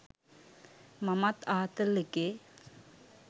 මමත් ආතල් එකේ